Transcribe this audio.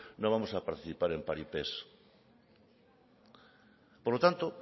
no vamos a participar en paripés por lo tanto